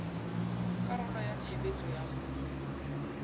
karolo ya tshebetso ya ho